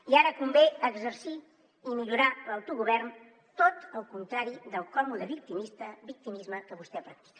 i ara convé exercir i millorar l’autogovern tot el contrari del còmode victimisme que vostè practica